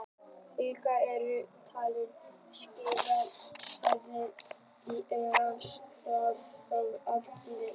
Augun eru yfirleitt talin skynfæri sjónar, en ljósnemarnir innan augans eru þó ekki allir eins.